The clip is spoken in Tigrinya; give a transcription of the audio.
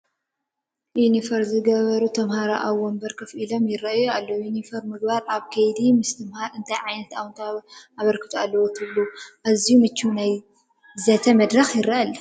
ዩኒፎርም ዝገበሩ ተመሃሮ ኣብ ወንበር ኮፍ ኢሎም ይርአዩ ኣለ፡፡ ዩኒፎርም ምግባር ኣብ ከይዲ ምስትምሃር እንታይ ዓይነት ኣወንታዊ ኣበርክቶ ኣለዎ ትብሉኣዝዩ ምቹው ናይ ዘተ መድረኽ ይርአ ኣሎ፡፡